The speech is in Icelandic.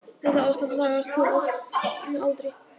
Þetta ástand lagast þó oft með aldri.